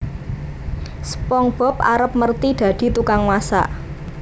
SpongeBob arep merthi dadi tukang masak